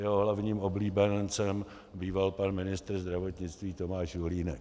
Jeho hlavním oblíbencem býval pan ministr zdravotnictví Tomáš Julínek.